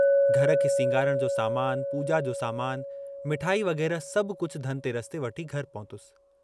घर खे सींगारण जो सामानु, पूजा जो सामानु, मिठाई वग़ैरह सभु कुझ धन तेरस ते वठी घर पहुतुस।